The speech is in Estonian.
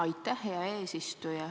Aitäh, hea eesistuja!